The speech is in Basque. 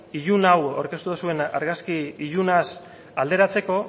ilun hau aurkeztu duzuen argazki ilunaz alderatzeko